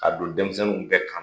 K'a don denmisɛnninw bɛɛ kan na.